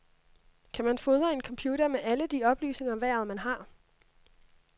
Kan man fodre en computer med alle de oplysninger om vejret, man har?